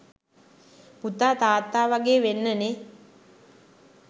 පුතා තාත්තාවාගේ වෙන්න නේ.